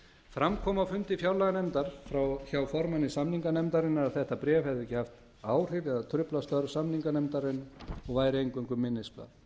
fram kom á fundi fjárlaganefndar hjá formanni samninganefndarinnar að þetta bréf hefði ekki haft áhrif eða truflað störf samninganefndar og væri eingöngu minnisblað